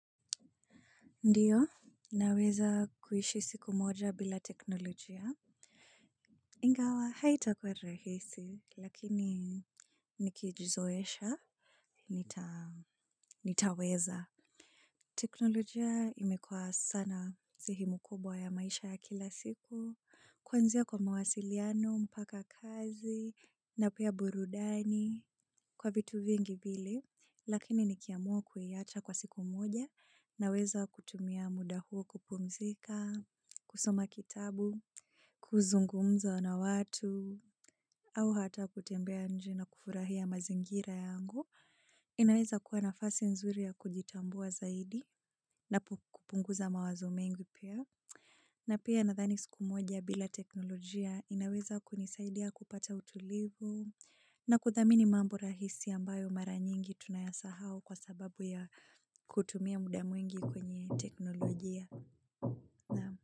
Ndiyo, naweza kuishi siku moja bila teknolojia. Ingawa, haitakuwa rahisi, lakini nikijizoesha, nitaweza. Teknolojia imekuwa sana sehemu kubwa ya maisha ya kila siku. Kwanzia kwa mawasiliano, mpaka kazi, napia burudani kwa vitu vingi vile. Lakini nikiamua kuiacha kwa siku moja naweza kutumia muda huo kupumzika, kusoma kitabu, kuzungumza na watu, au hata kutembea nje na kufurahia mazingira yangu. Inaweza kuwa nafasi nzuri ya kujitambua zaidi na kupunguza mawazo mengi pia. Na pia nathani siku moja bila teknolojia inaweza kunisaidia kupata utulivu na kuthamini mambo rahisi ambayo mara nyingi tunayasahau kwa sababu ya kutumia muda mwingi kwenye teknolojia.